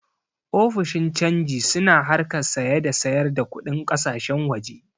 Ofishin cangi su na harkar saya da sayar da kuɗin ƙasashen waje